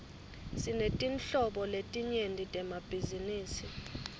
sinetinhlobo letinyenti temabhizinisi